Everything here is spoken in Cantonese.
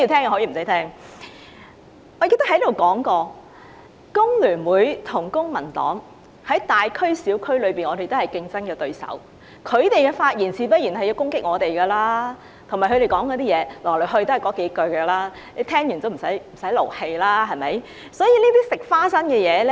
我記得我在此說過，香港工會聯合會與公民黨在大區及小區均是競爭對手，他們發言時自然會攻擊我們，而且來來去去都是那幾句批評，聽了也無需動氣。